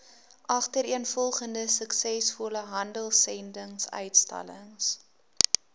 agtereenvolgende suksesvolle handelsendinguitstallings